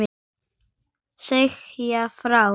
Segja frá.